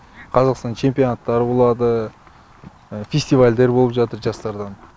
қазақстанның чемпионаттары болады фестивальдер болып жатыр жастардың